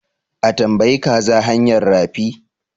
A tambayi kaza hanyar rafi?